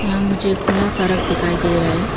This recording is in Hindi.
यहां मुझे खुला सड़क दिखाई दे रहे हैं।